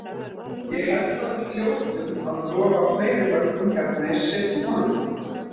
Ég held að við hljótum að lofa fleiri mörkum hérna í seinni hálfleik.